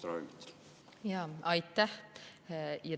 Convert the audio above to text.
Aitäh!